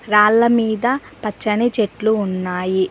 రాళ్ల మీద పచ్చని చెట్లు ఉన్నాయి.